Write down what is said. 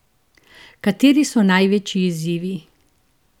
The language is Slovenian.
Kateri so največji izzivi?